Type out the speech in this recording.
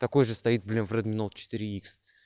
такой же стоит блин в редми ноут четыре икс